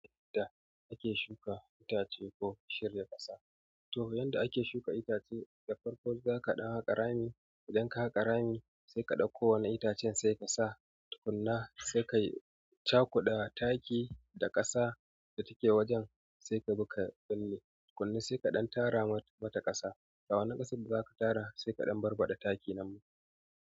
Da ake shuka itace ko shirya ƙasa. To yadda ake shuka itace, da farko zaka ɗaga rami, ka ɗinka ƙarami, sai ka ɗauko wani itacen sai ka sa tukuna, sai ka yi cakuda taki da ƙasa da take wajen, sai ka buga pelle tukuna, sai ka ɗan tara mata ƙasa. Da wannan ƙasan da za ka tara sai ka ɗan barbaɗa taki nan.